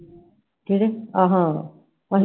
ਕਿਹੜੇ ਆਹਾ ਆਹੋ ਓਹਨਾ ਦੇ ਚੋਣ ਆ I